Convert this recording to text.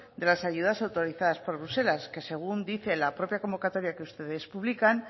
de las ayudas autorizadas por bruselas que según dice la propia convocatoria que ustedes publican